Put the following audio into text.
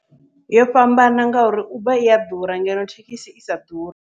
Yo fhambana ngauri Uber iya ḓura, ngeno thekhisi isa ḓuri.